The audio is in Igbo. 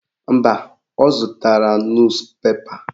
Mba, ọ zụtara nus pepa.